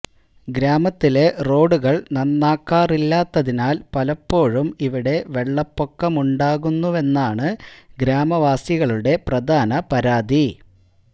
ഗ്രാമത്തിലെ റോഡുകള് നന്നാക്കാറില്ലാത്തതിനാല് പലപ്പോഴും ഇവിടെ വെള്ളപ്പൊക്കമുണ്ടാകുന്നുവെന്നാണ് ഗ്രാമവാസികളുടെ പ്രധാന പരാതി